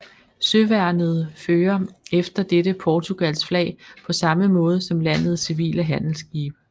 Søværnet fører efter dette Portugals flag på samme måde som landets civile handelsskibe